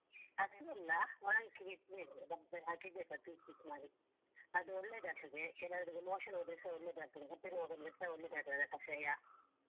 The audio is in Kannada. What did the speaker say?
ಹಸಿ ಅಲ್ಲ ಒಣಗಿಸ್ಬೇಕು ಡಬ್ಬಿಯಲ್ಲಿ ಹಾಕಿಡ್ಬೇಕು piece piece ಮಾಡಿ ಅದು ಒಳ್ಳೆದಾಗ್ತದೆ ಕೆಲವರಿಗೆ motion ಹೋದ್ರೆಸ ಒಳ್ಳೆದಾಗ್ತದೆ ಹೊಟ್ಟೆ ನೊವ್‌ ಬಂದ್ರೆಸ ಒಳ್ಳೆದಾಗ್ತದೆ ಕಷಾಯ.